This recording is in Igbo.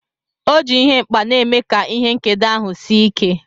O ji ihe nkpa na-eme ka ihe nkedo ahụ sie ike.